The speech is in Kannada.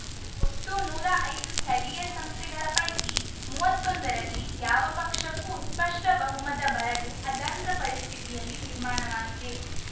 ಒಟ್ಟು ನೂರಾ ಐದು ಸ್ಥಳೀಯ ಸಂಸ್ಥೆಗಳ ಪೈಕಿ ಮೂವತ್ತೊಂದರಲ್ಲಿ ಯಾವ ಪಕ್ಷಕ್ಕೂ ಸ್ಪಷ್ಟಬಹುಮತ ಬರದೆ ಅತಂತ್ರ ಪರಿಸ್ಥಿತಿಯಲ್ಲಿ ನಿರ್ಮಾಣವಾಗಿದೆ